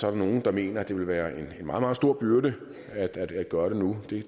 er nogle der mener at det vil være en meget meget stor byrde at at gøre det nu det